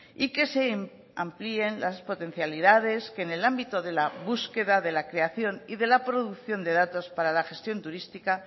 y que se amplíen las potencialidades que en el ámbito de la búsqueda de la creación y de la producción de datos para la gestión turística